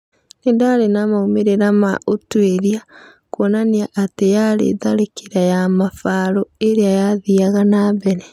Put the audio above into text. Nĩndarĩ na maumĩrĩra ma ũtwĩria. Kuonania atĩ yarĩ tharĩkĩra ya mabarũirĩa yathiaga na mbere.